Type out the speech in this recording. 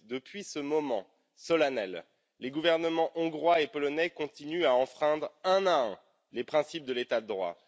7. Depuis ce moment solennel, les gouvernements hongrois et polonais continuent à enfreindre un à un les principes de l'état de droit.